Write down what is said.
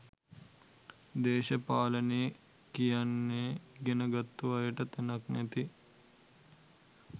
දේශපාලනේ කියන්නෙ ඉගෙන ගත්තු අයට තැනක් නැති